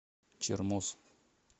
чермоз